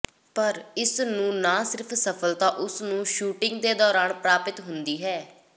ਪਰ ਇਸ ਨੂੰ ਨਾ ਸਿਰਫ ਸਫਲਤਾ ਉਸ ਨੂੰ ਸ਼ੂਟਿੰਗ ਦੇ ਦੌਰਾਨ ਪ੍ਰਾਪਤ ਹੁੰਦੀ ਹੈ